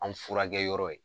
An furakɛyɔrɔ ye